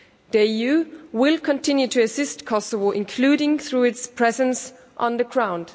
The EU will continue to assist Kosovo, including through its presence on the ground.